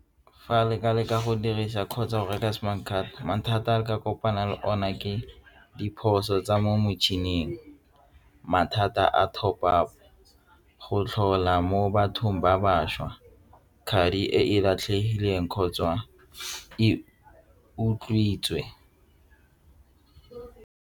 Fa re ka leka go dirisa kgotsa go reka semane thata mathata a ka kopana le ona ke diphoso tsa mo motšhining mathata a go tlhola mo bathong ba bašwa ka madi e latlhegile teng kgotsa e utswitswe.